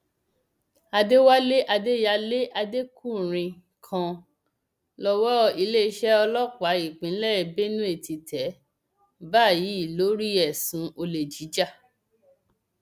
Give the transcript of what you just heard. àdẹwálé adéyàlẹ adékùnrin kan lowó iléeṣẹ ọlọpàá ìpínlẹ benue ti tẹ báyìí lórí ẹsùn olè jíjà